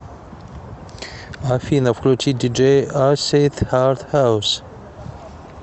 афина включи диджей асид хард хаус